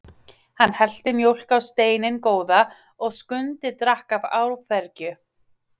Hann hellti mjólk á steininn góða og Skundi drakk af áfergju.